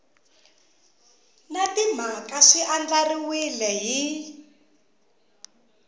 na timhaka swi andlariwile hi